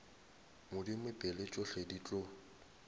modimo pele tšohle di tlo